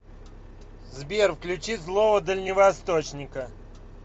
сбер включи злого дальневосточника